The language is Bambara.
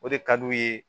O de ka d'u ye